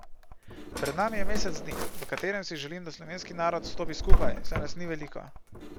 Pred nami je mesec dni, v katerem si želim, da slovenski narod stopi skupaj, saj nas ni veliko.